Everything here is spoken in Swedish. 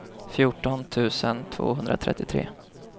fjorton tusen tvåhundratrettiotre